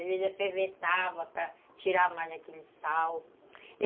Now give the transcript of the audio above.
Às vezes, eu fervia para tirar mais daquele sal.